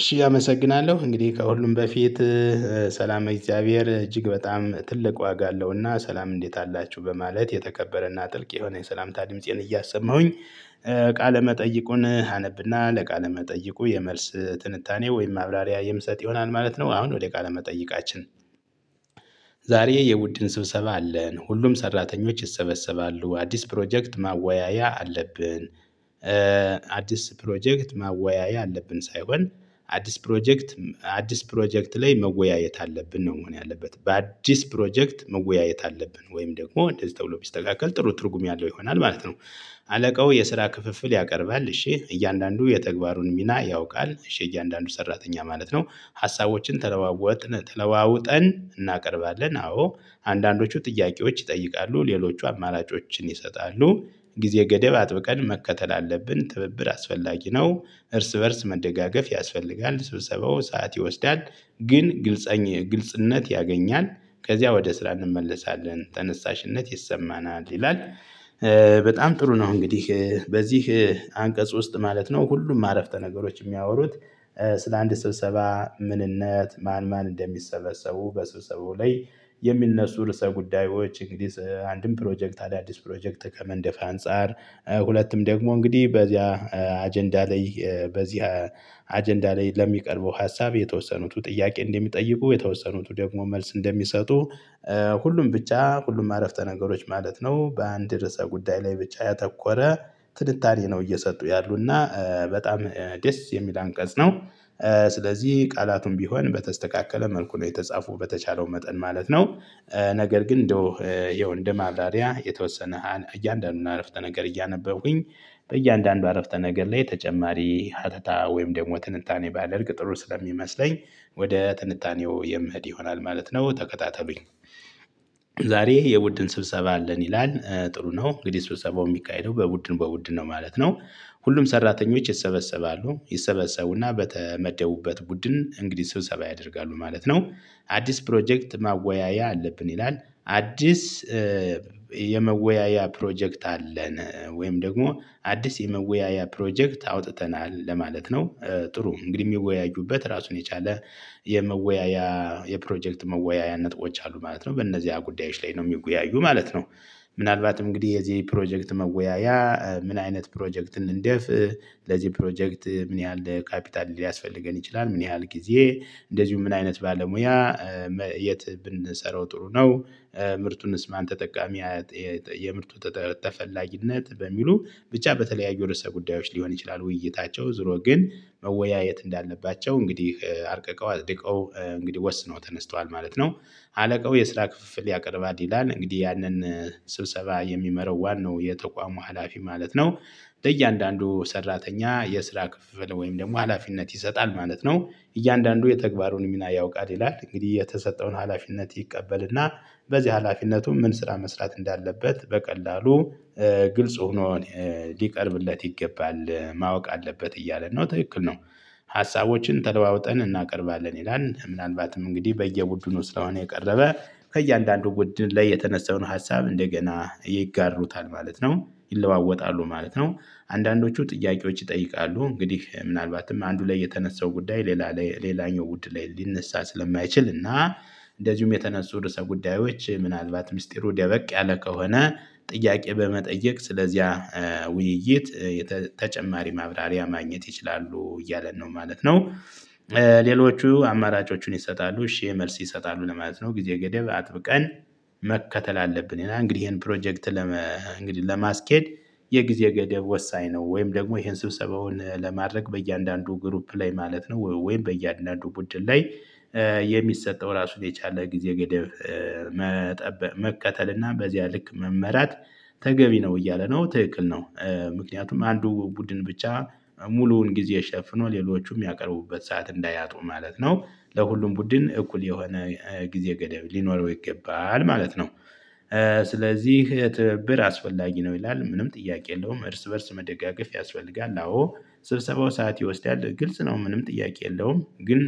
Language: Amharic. እሺ አመሰግናለሁ እንግዲህ ከሁሉም በፊት ሰላም እግዚአብሔር እጅግ በጣም ትልቅ ዋጋ አለውና ሰላም እንዴት አላችሁ በማለት የተከበረና ጥልቅ የሆነ የሰላምታ ድምፄን እያሰማሁኝ ቃለ መጠይቁን አነብና ለቃለ መጠይቁ የመልስ ትንታኔ ወይም ማብራሪያ የምሰጥ ይሆናል ማለት ነው። አሁን ወደ ቃለ መጠይቃችን ዛሬ የውድን ስብሰባ አለን ሁሉም ሰራተኞች ይሰበሰባሉ አዲስ ፕሮጀክት ማወያያ አለብን። አዲስ ፕሮጀክት ማወያያ አለብን ሳይሆን አዲስ ፕሮጀክት አዲስ ፕሮጀክት ላይ መወያየት አለብን ነው መሆን ያለበት በአዲስ ፕሮጀክት መወያየት አለብን ወይም ደግሞ እንደዚህ ተብሎ ሲስተካከል ጥሩ ትርጉም ያለው ይሆናል ማለት ነው። አለቃው የስራ ክፍፍል ያቀርባል እሺ እያንዳንዱ የተግባሩን ሚና ያውቃል እሺ እያንዳንዱ ሰራተኛ ማለት ነው። ሀሳቦችን ተለዋወጥን ተለዋውጠን እናቀርባለን አዎ አንዳንዶቹ ጥያቄዎች ይጠይቃሉ ሌሎቹ አማላጮችን ይሰጣሉ። ጊዜ ገደብ አጥብቀን መከተል አለብን ትብብር አስፈላጊ ነው። እርስ በእርስ መደጋገፍ ያስፈልጋል ስብሰባው ሰዓት ይወስዳል። ግን ግልጽነት ያገኛል። ከዚያ ወደ ስራ እንመለሳለን ተነሳሽነት ይሰማናል ይላል። በጣም ጥሩ ነው። እንግዲህ በዚህ አንቀጽ ውስጥ ማለት ነው ሁሉም ማረፍተ ነገሮች የሚያወሩት ስለ አንድ ስብሰባ። ምንነት ማን ማን እንደሚሰበሰቡ በስብሰቡ ላይ የሚነሱ ርዕሰ ጉዳዮች እንግዲህ አንድም ፕሮጀክት አዳዲስ ፕሮጀክት ከመንደፍ አንፃር። ሁለቱም ደግሞ እንግዲህ በዚያ አጀንዳ ላይ በዚህ አጀንዳ ላይ ለሚቀርበው ሀሳብ የተወሰኑት ጥያቄ እንደሚጠይቁ የተወሰኑት ደግሞ መልስ እንደሚሰጡ። ሁሉም ብቻ ሁሉም አረፍተ ነገሮች ማለት ነው በአንድ ርዕሰ ጉዳይ ላይ ብቻ ያተኮረ ትንታኔ ነው። እየሰጡ ያሉና በጣም ደስ የሚል አንቀጽ ነው። ስለዚህ ቃላቱን ቢሆን በተስተካከለ መልኩ ነው የተጻፉ በተቻለው መጠን ማለት ነው። ነገር ግን እንደው ያው እንደ ማብራሪያ የተወሰነ እያንዳንዱን አረፍተ ነገር እያነበብኩኝ በእያንዳንዱ አረፍተ ነገር ላይ ተጨማሪ ሀተታ ወይም ደግሞ ትንታኔ ባደርግ ጥሩ ስለሚመስለኝ ወደ ጥንቃቄው የምህድ ይሆናል ማለት ነው። ተከታተሉኝ ዛሬ የቡድን ስብሰባ አለን ይላል። ጥሩ ነው እንግዲህ ስብሰባው የሚቃይለው በቡድን በቡድን ነው ማለት ነው። ሁሉም ሰራተኞች ይሰበሰባሉ ይሰበሰቡና በተመደቡበት ቡድን እንግዲህ ስብሰባ ያደርጋሉ ማለት ነው። አዲስ ፕሮጀክት ማወያያ አለብን ይላል። አዲስ የመወያያ ፕሮጀክት አለን ወይም ደግሞ አዲስ የመወያያ ፕሮጀክት አውጥተናል ለማለት ነው። ጥሩ እንግዲህ የሚወያዩበት ራሱን የቻለ የመወያያ የፕሮጀክት መወያያ ነጥቦች አሉ ማለት ነው በእነዚህ ጉዳዮች ላይ ነው የሚወያዩ ማለት ነው። ምናልባት እንግዲህ የዚህ ፕሮጀክት መወያያ ምን አይነት ፕሮጀክትን እንደፍ? ለዚህ ፕሮጀክት ምን ያህል ካፒታል ሊያስፈልገን ይችላል ምን ያህል ጊዜ እንደዚሁም ምን አይነት ባለሙያ የት ብንሰራው ጥሩ ነው። ምርቱንስ ማን ተጠቃሚ? የምርቱ ተፈላጊነት በሚሉ ብቻ በተለያዩ የውስጥ ጉዳዮች ሊሆን ይችላል ውይይታቸው ዙሮ ግን መወያየት እንዳለባቸው እንግዲህ አርቀቀው አዝርቀው እንግዲህ ወስነው ተነስተዋል ማለት ነው። አለቀው የስራ ክፍፍል ያቀርባል ይላል እንግዲህ ያንን ስብሰባ የሚመራው ዋናው የተቋሙ ሀላፊ ማለት ነው። ለእያንዳንዱ ሰራተኛ የስራ ክፍል ወይም ደግሞ ሀላፊነት ይሰጣል ማለት ነው። እያንዳንዱ የተግባሩን ሚና ያውቃል ይላል እንግዲህ የተሰጠውን ሀላፊነት ይቀበልና በዚህ ሀላፊነቱም ምን ስራ መስራት እንዳለበት በቀላሉ ግልጽ ሆኖ ሊቀርብለት ይገባል ማወቅ አለበት እያለ ነው ትክክል ነው። ሀሳቦችን ተለዋውጠን እናቀርባለን ይላል ምናልባትም እንግዲህ በየውዱኑ ስለሆነ የቀረበ ከእያንዳንዱ ውድ ላይ የተነሳውን ሀሳብ እንደገና ይጋሩታል ማለት ነው። ይለዋወጣሉ ማለት ነው። አንዳንዶቹ ጥያቄዎች ይጠይቃሉ እንግዲህ ምናልባትም አንዱ ላይ የተነሳው ጉዳይ ሌላ ሌላኛው ውድ ላይ ሊነሳ ስለማይችል እና እንደዚሁም የተነሱ ርዕሰ ጉዳዮች ምናልባት ሚስጢሩ ደበቅ ያለ ከሆነ ጥያቄ በመጠየቅ ስለዚያ ውይይት ተጨማሪ ማብራሪያ ማግኘት ይችላሉ እያለን ነው ማለት ነው። ሌሎቹ አማራጮቹን ይሰጣሉ እሺ መልስ ይሰጣሉ ለማለት ነው። ጊዜ ገደብ አጥብቀን መከተል አለብን እና እንግዲህ ይሄን ፕሮጀክት ለመ እንግዲህ ለማስኬድ የጊዜ ገደብ ወሳኝ ነው። ወይም ደግሞ ይሄን ስብሰባውን ለማድረግ በእያንዳንዱ ግሩፕ ላይ ማለት ነው ወይም በእያንዳንዱ ቡድን ላይ የሚሰጠው ራሱን የቻለ ጊዜ ገደብ መቀጠል እና በዚያ ልክ መመራት ተገቢ ነው እያለ ነው ትክክል ነው። ምክንያቱም አንዱ ቡድን ብቻ ሙሉውን ጊዜ ሸፍኖ ሌሎቹም የሚያቀርቡበት ሰዓት እንዳያጡ ማለት ነው። ለሁሉም ቡድን እኩል የሆነ ጊዜ ገደብ ሊኖረው ይገባል ማለት ነው። ስለዚህ ትብብር አስፈላጊ ነው ይላል። ምንም ጥያቄ የለውም እርስ በእርስ መደጋገፍ ያስፈልጋል። አዎ ስብሰባው ሰዓት ይወስዳል። ግልጽ ነው ምንም ጥያቄ የለውም ግን